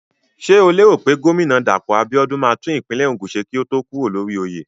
Ṣé o lérò pé gómínà Dàpọ̀ Abíọ́dún máa tún ìpínlẹ̀ Ògùn ṣe kó tó kúrò lórí oyè?